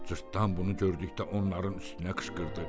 Cırtdan bunu gördükdə onların üstünə qışqırdı.